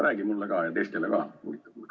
Räägi mulle ja teistele ka!